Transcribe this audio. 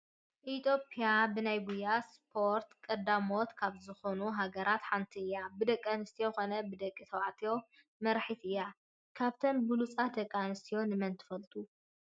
ኢትዮጵያ ብናይ ጉያ ስፖርት ቀዳሞት ካብ ዝኾኑ ሃገራት ሃንቲ እያ፡፡ ብደቂ ኣንስትዮ ኮነ ብደቂ ተባዕትዮ መራሒት እያ፡፡ ካብተን ብሎፃት ደቂ ኣንስትዮ ንመን ትፈልጡ?